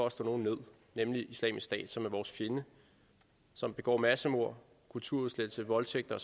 at slå nogen ned nemlig islamisk stat som er vores fjende som begår massemord kulturudslettelse voldtægter